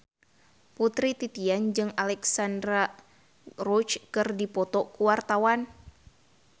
Putri Titian jeung Alexandra Roach keur dipoto ku wartawan